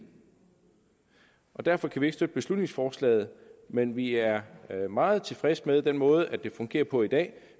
derfor kan vi ikke støtte beslutningsforslaget men vi er meget tilfredse med den måde det fungerer på i dag